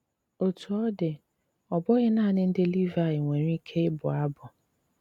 Ótú ọ́ dí, ọ́ bụ́ghí nánị ndí Líváyí nwéré íké íbụ́ ábụ́.